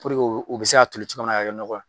Puruke u bɛ se ka toli cogoya min na ka kɛ ɲɔgɔ ye.